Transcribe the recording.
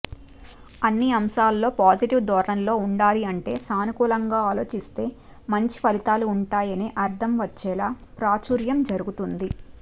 అన్ని అంశాల్లో పాజిటీవ్ ధోరణిలో ఉండాలి అంటే సానుకూలంగా ఆలోచిస్తే మంచి ఫలితాలు ఉంటాయనే అర్థం వచ్చేలా ప్రాచూర్యం జరుగుతుంది